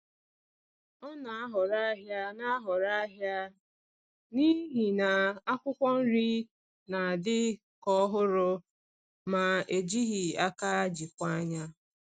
Ọ na-ahọrọ ahịa na-ahọrọ ahịa n’ihi na akwụkwọ nri na-adị ka ọhụrụ ma e jighị aka jikwaa ya.